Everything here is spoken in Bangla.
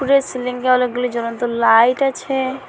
উপরে সিলিংঙে অনেকগুলো জ্বলন্ত লাইট আছে।